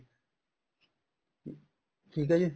ਠੀਕ ਏ ਜੀ